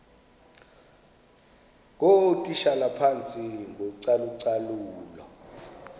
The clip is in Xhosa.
ngootitshala phantsi kocalucalulo